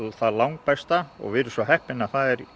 langbesta við erum svo heppin að það er